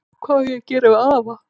Hvað á að gera við afa?